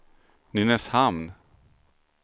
Nynäshamn